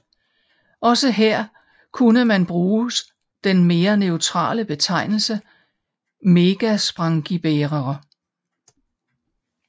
Også her kunne man bruges den mere neutrale betegnelse megasprangiebærere